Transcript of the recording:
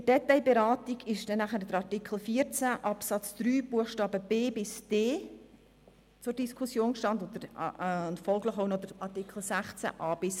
In der Detailberatung standen Artikel 14 Absatz 3 Buchstabe b–d sowie Artikel 16 a–g zur Diskussion.